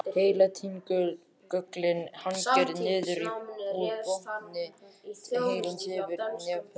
Heiladingullinn hangir niður úr botni heilans yfir nefholi.